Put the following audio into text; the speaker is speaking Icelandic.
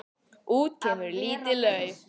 Út kemur lítið lauf.